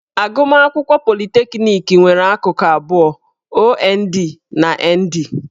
Agụmakwụkwọ politekniki nwere akụkụ abụọ - OND na ND.